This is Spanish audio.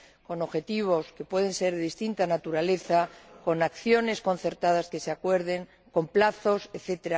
con objetivos que pueden ser de distinta naturaleza, con acciones concertadas que se acuerden, con plazos, etc.